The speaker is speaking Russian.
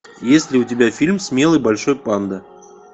есть ли у тебя фильм смелый большой панда